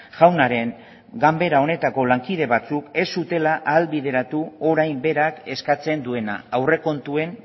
jaunaren ganbera honetako lankide batzuk ez zutela ahalbideratu orain berak eskatzen duena aurrekontuen